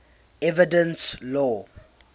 evidence law